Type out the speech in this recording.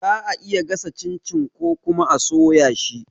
Za'a iya gasa cin-cin ko kuma a soya shi